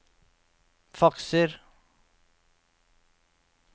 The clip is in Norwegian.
fakser